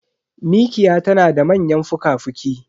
Mikiya tanada manyan fuka fuki